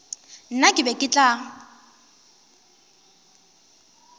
nna ke be ke tla